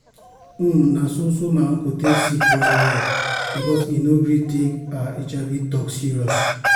um na so so my uncle take sick well well because he no gree take ah hiv talk serious.